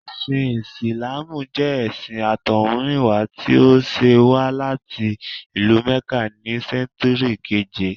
Ẹ̀sìn Ìsìláàmù jẹ́ ẹṣin àtọ̀húnrìnwá tí ó ṣẹ̀ wá láti ìlú Mẹ́kà ní sẹ́ńtúrì keèje